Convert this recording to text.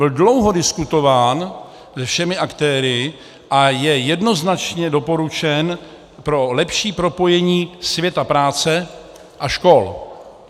Byl dlouho diskutován se všemi aktéry a je jednoznačně doporučen pro lepší propojení světa práce a škol.